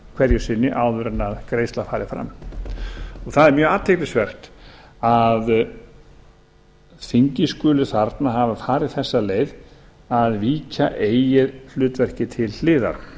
hverju sinni áður en greiðsla færi fram það er mjög athyglisvert að þingið skuli þarna hafa farið þessa leið að víkja eigi hlutverki til hliðar